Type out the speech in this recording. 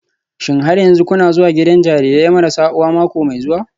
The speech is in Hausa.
Shin har yanzu kuna zuwa gidan jarirai marasa uwa mako mai zuwa?